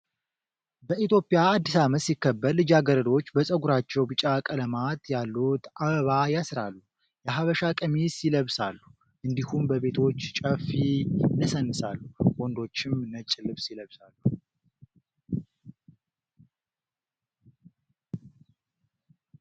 በኢትዮጵያ አዲስ አመት ሲከበር ልጃገረዶች በፀጉራቸው ቢጫ ቀለማት ያሉት አባባ ያስራሉ የሀበሻ ቀሚስ ይለብሳሉ እንዲሁም በቤቶች ጨፊ ይነሰንሳሉ። ወንዶችም ነጭ ልብስ ይለብሳሉ።